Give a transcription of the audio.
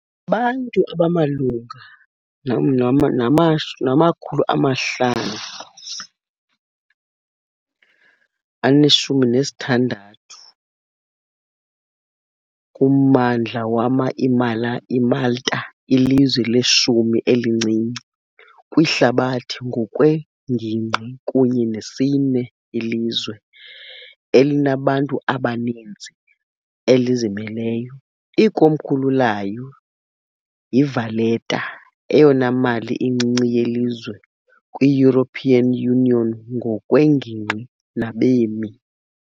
abantu abamalunga nama-516 kummandla wama- , iMalta lilizwe leshumi-elincinci kwihlabathi ngokwengingqi kunye nesine ilizwe elinabantu abaninzi elizimeleyo. Ikomkhulu layo yiValletta, eyona mali incinci yelizwe kwi-European Union ngokwengingqi nabemi.